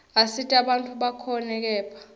asita bantfu bakhone kephla